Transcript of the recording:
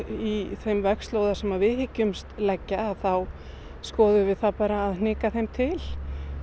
í þeim vegslóða sem við hyggjumst leggja þá skoðum við það bara að hnika þeim til